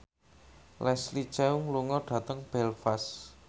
Leslie Cheung lunga dhateng Belfast